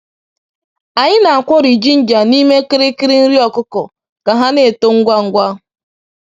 Anyị na-akwori jinja n’ime kirikiri nri ọkụkọ ka ha na-eto ngwa ngwa.